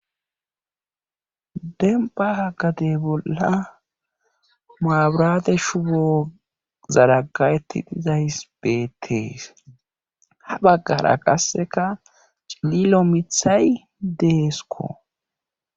Dembba gade bolla mabiraate shubo zaragga7etti dizayssi beettees ha beggara qasseka cililo mithay deeskko